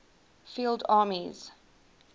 field armies